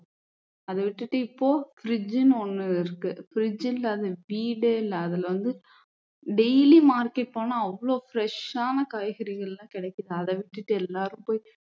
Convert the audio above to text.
அதை விட்டுட்டு இப்போ fridge னு ஒண்ணு இருக்கு fridge இல்லாத வீடே இல்ல அதுல வந்து daily market போனா அவ்ளோ fresh ஆன காய்கறிகள் எல்லாம் கிடைக்குது அதை விட்டுட்டு எல்லாரும் போய்